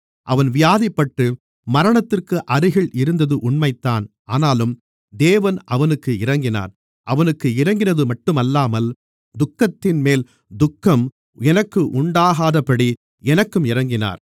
அவன் வியாதிப்பட்டு மரணத்திற்கு அருகில் இருந்தது உண்மைதான் ஆனாலும் தேவன் அவனுக்கு இரங்கினார் அவனுக்கு இரங்கினதுமட்டுமல்லாமல் துக்கத்தின்மேல் துக்கம் எனக்கு உண்டாகாதபடி எனக்கும் இரங்கினார்